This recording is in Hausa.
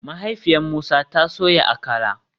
Mahaifiyar Musa ta soya Akara